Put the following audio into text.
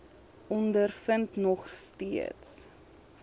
ondervind nog steeds